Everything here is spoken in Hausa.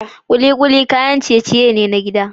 Kikuli kayan ciye-ciye ne na gida